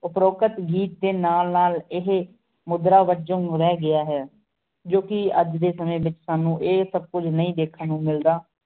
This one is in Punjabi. ਉਪਰੋਕਤ ਗੀਤ ਦੇ ਨਾ ਨਾਲ ਏਹੇ ਮੁਦਰਾ ਰਹਿ ਗਿਆ ਹੈ, ਜੋ ਕਿ ਅਜ ਦੇ ਸਮੇ ਵਿਚ ਸਾਨੂੰ ਇਹ ਸਬ ਕੁਛ ਨਹੀਂ ਦੇਖਣ ਨੂੰ ਮਿਲਦਾ